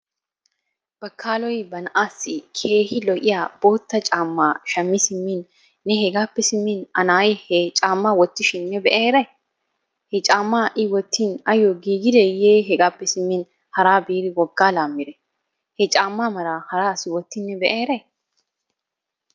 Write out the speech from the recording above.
Bakaaloy ba na'aassi keehi lo"iya bootta caammaa shammi simmin ne hegaappe simmin A na"ay he caammaa wottishin ne be"a eray. He caammaa I wottin ayyoo giigideeyee hegaappe simmin haraa biidi woggaa laammidee? He caammaa mala hara asi wottin ne be"a eray?